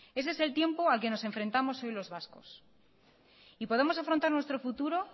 ese es el tiempo al que nos enfrentamos hoy los vascos y podemos afrontar nuestro futuro